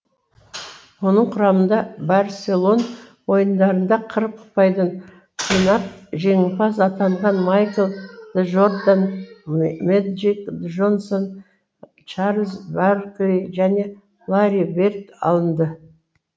оның құрамында барселон ойындарында қырық ұпайдан жинап жеңімпаз атанған майкл джордан мэджик джонсон чарльз баркли және ларри берд алынды